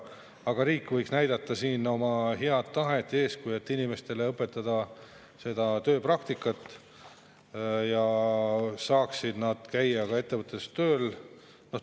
Aga riik võiks näidata siin oma head tahet ja eeskuju, et inimestele tööpraktikat, et nad saaksid käia ettevõttes tööl.